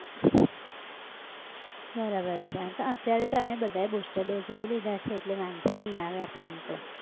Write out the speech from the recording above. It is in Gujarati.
બરાબર છે, પણ અત્યારે તો આમેય બધાએ booster dose લઇ લીધા છે એટલે વાંધો નઈ આવે આપણન તો